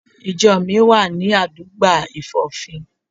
Ìjo mi wà ní àdúgbà Ìfòfín